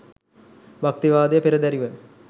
භක්තිවාදය පෙරදැරිව